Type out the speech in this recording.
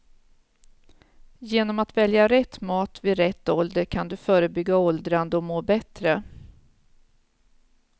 Genom att välja rätt mat vid rätt ålder kan du förebygga åldrande och må bättre.